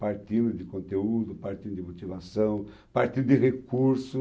Partindo de conteúdo, partindo de motivação, partindo de recurso.